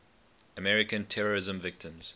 american terrorism victims